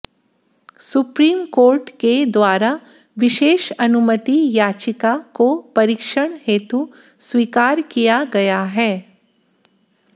supreme court के द्वारा विशेष अनुमति याचिका को परीक्षण हेतु स्वीकार किया गया है